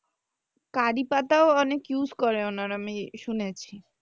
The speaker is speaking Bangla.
curry পাতাও ওনারা অনেক use করে আরকি শুনেছি।